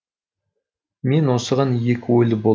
мен осыған екі ойлы болдым